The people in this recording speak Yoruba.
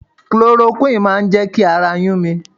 Cloroquine máa jẹ́ kí ara yún mi.